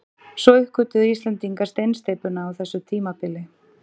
Svo uppgötvuðu Íslendingar steinsteypuna á þessu tímabili.